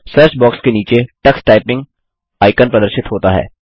search box के नीचे Tux typing icon प्रदर्शित होता है